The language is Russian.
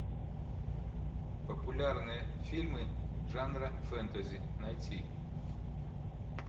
популярные фильмы жанра фэнтези найти